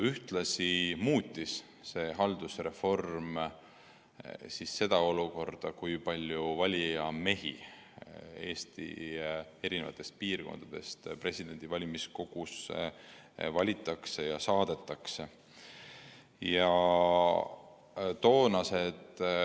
Ühtlasi muutus selle haldusreformi käigus see, kui palju valijamehi Eesti eri piirkondadest valimiskogusse valitakse ja valima saadetakse.